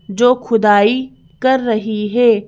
जो खुदाई कर रही है।